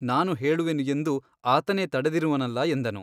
ನಾನು ಹೇಳುವೆನು ಎಂದು ಆತನೇ ತಡೆದಿರುವನಲ್ಲ ಎಂದನು.